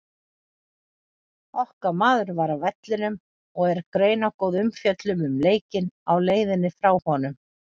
Okkar maður var á vellinum og er greinargóð umfjöllun um leikinn á leiðinni frá honum.